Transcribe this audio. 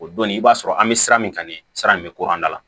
O donnin i b'a sɔrɔ an bɛ sira min kan nin ye sira in bɛ ko an da la